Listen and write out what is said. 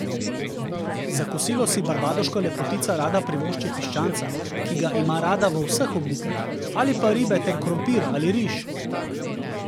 Za kosilo si barbadoška lepotica rada privošči piščanca, ki ga ima rada v vseh oblikah, ali pa ribe ter krompir ali riž.